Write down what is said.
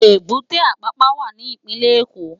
Ébùté Ápàpá wá ni Ipinlè Ékó